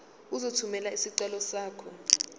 uzothumela isicelo sakho